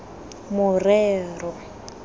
morero